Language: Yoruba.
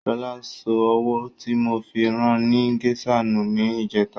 Ṣọlá sọ owó tí mo fi ran ni gésà nù ní ìjẹ́ta.